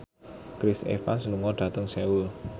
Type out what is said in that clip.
Chris Evans lunga dhateng Seoul